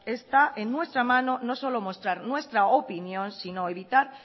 está en nuestra mano no solo mostrar nuestra opinión sino evitar